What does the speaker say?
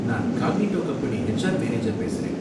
நான் Cognito company HR manager பேசுறேன்